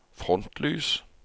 frontlys